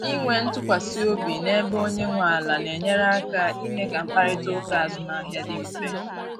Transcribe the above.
Inwe ntụkwasị obi na-ebe onye nwe ala na-enyere aka ime ka mkparịta ụka azụmahịa dị mfe.